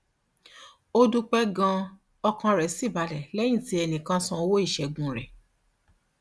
ó dúpẹ ganan ọkàn rẹ sì balẹ lẹyìn tí ẹnì kan san owó ìṣègùn rẹ